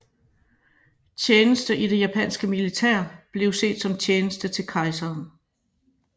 Tjeneste i det japanske militær blev set som tjeneste til kejseren